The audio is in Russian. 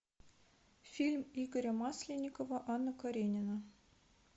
фильм игоря масленникова анна каренина